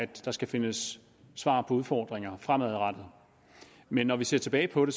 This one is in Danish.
der skal findes svar på udfordringer fremadrettet men når vi ser tilbage på det